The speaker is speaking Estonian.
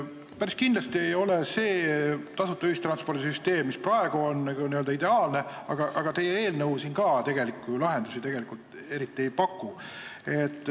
Päris kindlasti ei ole see tasuta ühistranspordi süsteem, mis praegu on, ideaalne, aga teie eelnõu ka tegelikult lahendusi eriti ei paku.